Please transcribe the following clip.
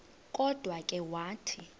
kodwa ke wathi